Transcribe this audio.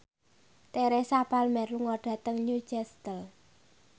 Teresa Palmer lunga dhateng Newcastle